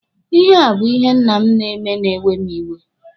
Ihe a bụ ihe nna m na-eme na-ewe mụ iwe.